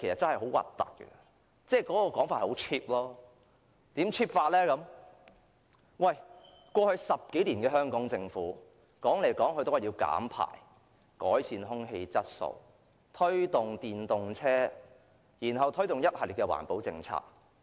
香港政府過去10多年經常說要減排，要改善空氣質素，推動電動車，又推行一系列環保政策。